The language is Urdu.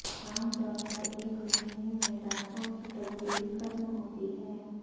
عام طور پر ایک مہینے میں دانتوں کی تبدیلی ختم ہوتی ہے